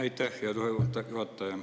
Aitäh, hea juhataja!